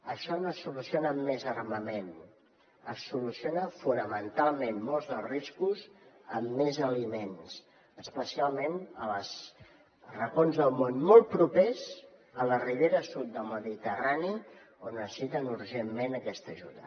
això no es soluciona amb més armament es soluciona fonamentalment molts dels riscos amb més aliments especialment als racons del món molt propers a la ribera sud del mediterrani on necessiten urgentment aquesta ajuda